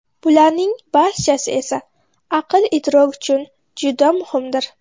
Bularning barchasi aql-idrok uchun juda muhimdir.